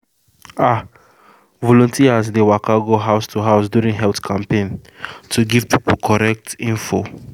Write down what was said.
ah volunteers dey waka go house to house during health campaign to give people correct info